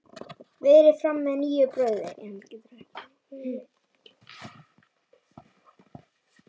Berið fram með nýju brauði.